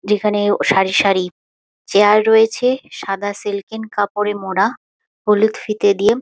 যেখানেও সারি সারি চেয়ার রয়েছে | সাদা সিল্কিং কাপড়ে মোড়া হলুদ ফিতে দিয়ে--